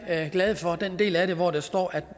glade for den del af det hvor der står at